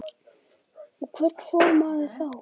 Og hvert fór maður þá?